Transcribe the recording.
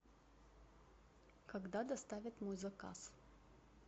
когда доставят мой заказ